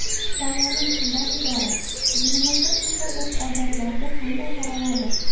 Savolim shundan iborat: dinimizda shunday urf-odatlarga qanday qaraladi?